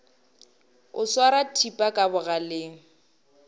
o swara thipa ka bogaleng